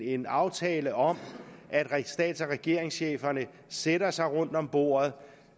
en aftale om at stats og regeringscheferne sætter sig rundt om bordet